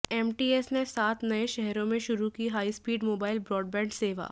MTS ने सात नए शहरों में शुरू की हाईस्पीड मोबाइल ब्राडबैंड सेवा